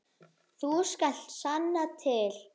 Þú skalt sanna til.